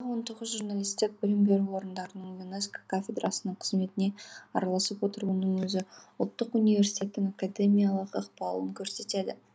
он тоғыз журналистік білім беру орындарының юнеско кафедрасының қызметіне араласып отыруының өзі ұлттық университеттің академиялық ықпалын көрсетеді